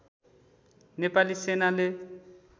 नेपाली सेनाले